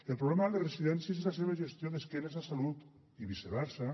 el problema de les residències és la seva gestió d’esquena a salut i viceversa